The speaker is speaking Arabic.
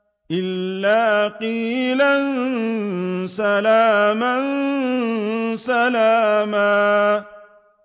إِلَّا قِيلًا سَلَامًا سَلَامًا